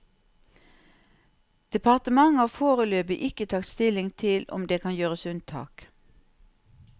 Departementet har foreløpig ikke tatt stilling til om det kan gjøres unntak.